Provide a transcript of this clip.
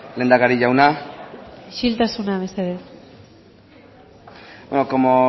lehendakari jauna isiltasuna mesedez como